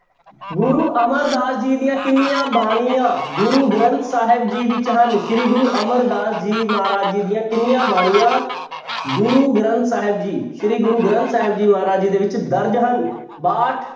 ਗੁਰੂ ਅਮਰਦਾਸ ਜੀ ਦੀਆਂ ਕਿੰਨੀਆਂ ਬਾਣੀਆਂ ਗੁਰੂ ਗ੍ਰੰਥ ਸਾਹਿਬ ਜੀ ਵਿੱਚ ਹਨ ਸ੍ਰੀ ਗੁਰੂ ਅਮਰਦਾਸ ਜੀ ਮਹਾਰਾਜ ਜੀ ਦੀਆਂ ਕਿੰਨੀਆਂ ਬਾਣੀਆਂ ਗੁਰੂ ਗ੍ਰੰਥ ਸਾਹਿਬ ਜੀ ਸ੍ਰੀ ਗੁਰੂ ਗ੍ਰੰਥ ਸਾਹਿਬ ਜੀ ਮਹਾਰਾਜ ਜੀ ਦੇ ਵਿੱਚ ਦਰਜ਼ ਹਨ ਬਾਹਠ